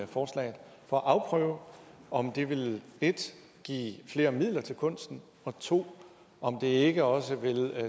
forslaget for at afprøve om det vil 1 give flere midler til kunsten og 2 om det ikke også vil